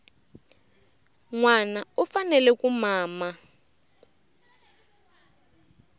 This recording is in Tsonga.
nwana u fanele ku mama